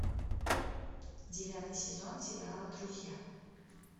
девятый сезон сериала друзья